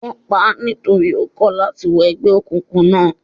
Wón paá nítorí ó kọ̀ láti wọ ẹgbẹ́ òkùnkùn náà.